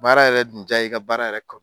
Baara yɛrɛ dun diya ye, i ka baara yɛrɛ kanu.